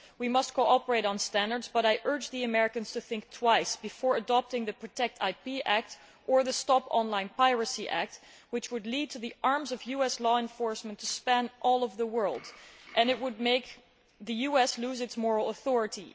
We must cooperate on standards, but I urge the Americans to think twice before adopting the PROTECT IP Act or the Stop Online Piracy Act, which would lead the arms of US law enforcement to span the entire world and it would make the US lose its moral authority.